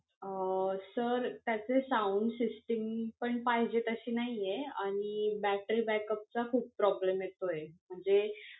अं sir त्याचे sound system पण पाहिजे तशी नाही आहेत आणि battery back चा खूप problem येतोय, म्हणजे